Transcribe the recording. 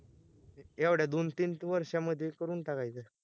येवड्या दोन तीन त वर्षा मधे करून टाकायचं